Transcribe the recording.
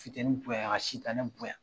Futeni bonya ka sitanɛ bonya.